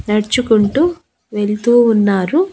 నడుచుకుంటూ వెళ్తూ ఉన్నారు.